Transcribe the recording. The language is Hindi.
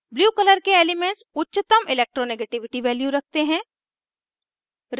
blue color के एलीमेन्ट्स उच्चतम electronegativity values रखते हैं